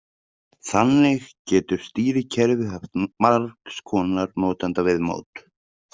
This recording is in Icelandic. Þannig getur stýrikerfið haft margs konar notendaviðmót.